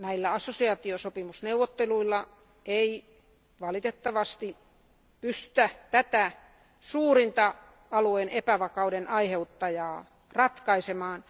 Assosiaatiosopimusneuvotteluilla ei valitettavasti pystytä tätä suurinta alueen epävakauden aiheuttajaa ratkaisemaan.